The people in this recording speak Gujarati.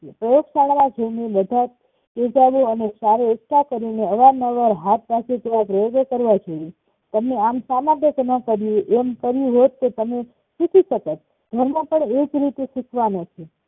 પ્રયોગશાળાએ જઈને બધાજ તેજબો આચરે એકઠા કરીને અવાર નવાર હાથ પાસે થવા જોઈએ પ્રયોગો કરવા જોઈએ તમે આમ ન કર્યું એમ કર્યુ હોત તો તમે શીખીશકત ધર્મો પણ એજ રીતે શીખવાનો છે